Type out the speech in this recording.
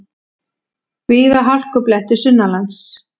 Víða hálkublettir sunnanlands